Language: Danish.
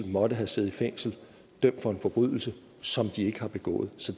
måtte have siddet i fængsel dømt for en forbrydelse som de ikke har begået så